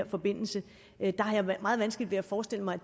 forbindelse har jeg meget vanskeligt ved at forestille mig